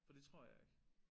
For det tror jeg ikke